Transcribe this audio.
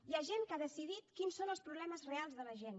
hi ha gent que ha decidit quins són els problemes reals de la gent